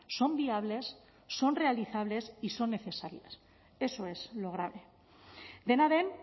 son viables son realizables y son necesarias eso es lo grave dena den